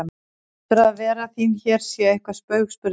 Heldurðu að vera þín hér sé eitthvert spaug spurði hann.